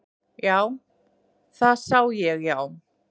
Já, það sá ég já.